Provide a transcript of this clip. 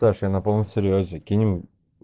тош я на полном серьёзе кинем